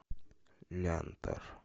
лянтор